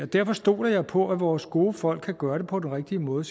derfor stoler jeg på at vores gode folk kan gøre det på den rigtige måde